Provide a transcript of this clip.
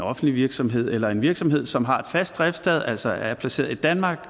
offentlig virksomhed eller en virksomhed som har et fast driftssted altså er placeret i danmark